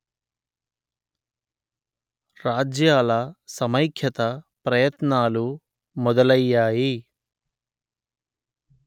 రాజ్యాల సమైఖ్యత ప్రయత్నాలు మొదలయ్యాయి